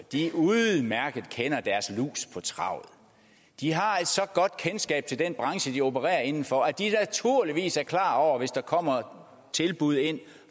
udmærket kender deres lus på travet de har et så godt kendskab til den branche de opererer inden for at de naturligvis er klar over og hvis der kommer tilbud ind